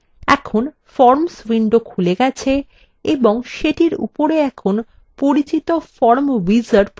এখন forms window খুলে গেছে এবং সেটির উপরে এখন পরিচিত forms wizard প্রর্দশিত হচ্ছে